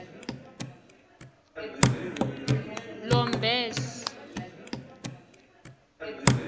lomberse